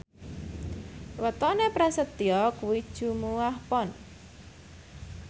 wetone Prasetyo kuwi Jumuwah Pon